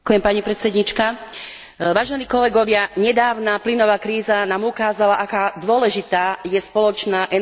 Vážení kolegovia, nedávna plynová kríza nám ukázala, aká dôležitá je spoločná energetická politika EÚ.